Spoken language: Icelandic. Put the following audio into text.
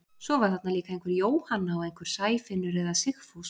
Svo var þarna líka einhver Jóhanna og einhver Sæfinnur eða Sigfús.